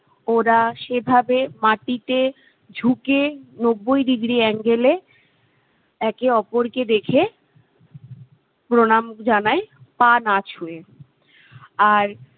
ওরা সেভাবে মাটিতে ঝুঁকে নব্বই degree angle এ একে অপরকে দেখে প্রণাম জানায় পা না ছুঁয়ে আর